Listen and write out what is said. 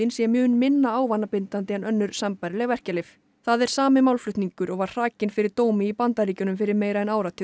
sé mun minna ávanabindandi en önnur sambærileg verkjalyf það er sami málflutningur og var hrakinn fyrir dómi í Bandaríkjunum fyrir meira en áratug